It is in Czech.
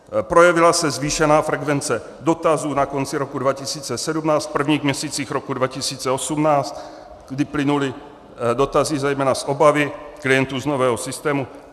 Projevila se zvýšená frekvence dotazů na konci roku 2017, v prvních měsících roku 2018, kdy plynuly dotazy zejména z obavy klientů z nového systému..."